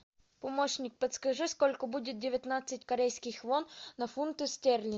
помощник подскажи сколько будет девятнадцать корейских вон на фунты стерлинги